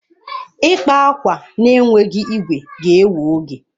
Ịkpa akwa na-enweghị igwe ga-ewe oge.